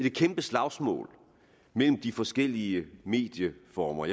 et kæmpe slagsmål mellem de forskellige medieformer